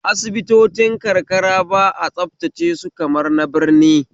Asibitocin karka ba a tsabtace su kamar na birni